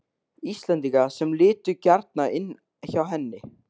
Íslendinga sem litu gjarnan inn hjá henni.